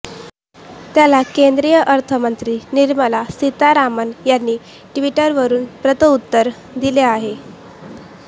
त्याला केंद्रीय अर्थमंत्री निर्मला सीतारामन यांनी ट्विटरवरून प्रत्युत्तर दिलं आहे